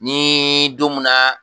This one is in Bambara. Ni don munna